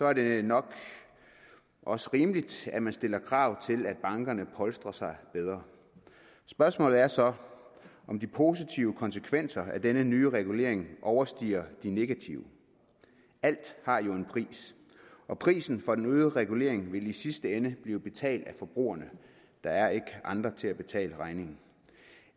er det nok også rimeligt at man stiller krav til at bankerne polstrer sig bedre spørgsmålet er så om de positive konsekvenser af denne nye regulering overstiger de negative alt har jo en pris og prisen for den øgede regulering vil i sidste ende blive betalt af forbrugerne der er ikke andre til at betale regningen